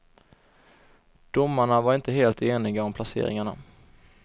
Domarna var inte helt eniga om placeringarna.